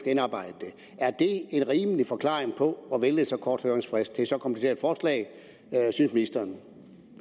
indarbejde det er en rimelig forklaring på at vælge en så kort høringsfrist til et så kompliceret forslag synes ministeren